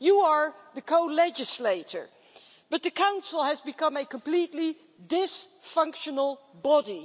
You are the co legislator, but the Council has become a completely dysfunctional body.